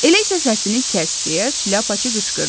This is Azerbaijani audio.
Elə isə səsini kəs, deyə şlyapaçı qışqırdı.